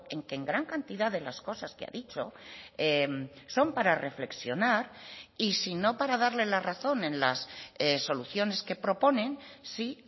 en que en gran cantidad de las cosas que ha dicho son para reflexionar y sin o para darle la razón en las soluciones que proponen sí